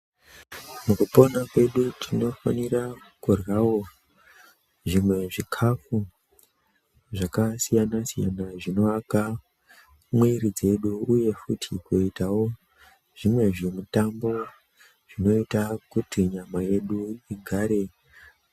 Mukupona kwedu tinofanira kuryawo zvimwe zvikafu zvakasiyana-siyana zvinonaka mwiri dzedu uye futi kuitawo zvimwe zvimitambo zvinoita kuti nyama yedu igare.